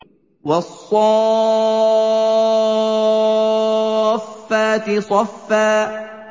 وَالصَّافَّاتِ صَفًّا